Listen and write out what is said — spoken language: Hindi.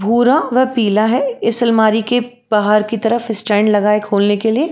भूरा व पीला है। इस सालमारी के बाहर की तरफ स्टैंड लगा है खोलने के लिए।